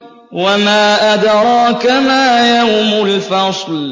وَمَا أَدْرَاكَ مَا يَوْمُ الْفَصْلِ